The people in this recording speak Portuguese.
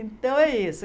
Então, é isso.